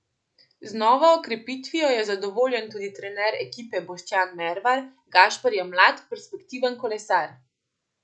Z novo okrepitvijo je zadovoljen tudi trener ekipe Boštjan Mervar: "Gašper je mlad, perspektiven kolesar.